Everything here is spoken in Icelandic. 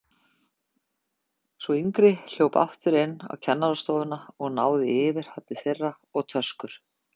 Sú yngri hljóp aftur inn á kennarastofuna og náði í yfirhafnir þeirra og töskur.